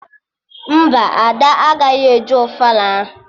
Mba, Ada agaghị eje ofala ahụ